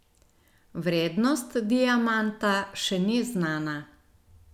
Vrednost diamanta še ni znana.